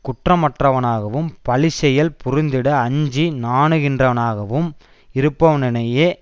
குற்றமற்றவனாகவும் பழிச்செயல் புரிந்திட அஞ்சி நாணுகின்றவனாகவும் இருப்பவனினையே